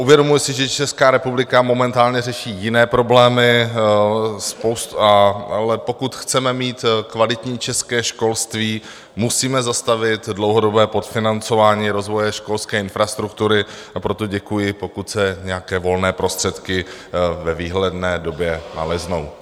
Uvědomuji si, že Česká republika momentálně řeší jiné problémy, ale pokud chceme mít kvalitní české školství, musíme zastavit dlouhodobé podfinancování rozvoje školské infrastruktury, a proto děkuji, pokud se nějaké volné prostředky v dohledné době naleznou.